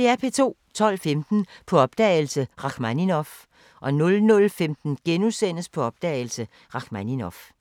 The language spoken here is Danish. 12:15: På opdagelse – Rakhmaninov 00:15: På opdagelse – Rakhmaninov *